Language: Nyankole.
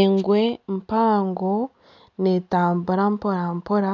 Engwe mpango netambura mporampora